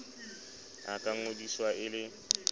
a ka ngodiswa e le